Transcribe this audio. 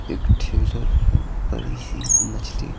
एक ठेला भी बड़ी सी मछली--